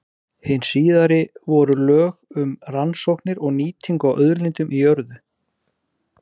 Hin síðari voru lög um rannsóknir og nýtingu á auðlindum í jörðu.